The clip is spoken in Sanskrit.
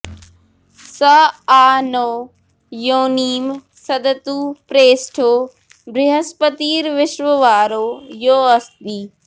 स आ नो योनिं सदतु प्रेष्ठो बृहस्पतिर्विश्ववारो यो अस्ति